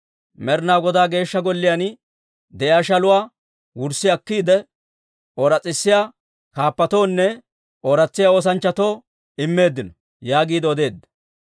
Med'inaa Godaa Geeshsha Golliyaan de'iyaa shaluwaa wurssi akkiide, ooratsisiyaa kaappatoonne ooratsiyaa oosanchchatoo immeeddino» yaagiide odeedda.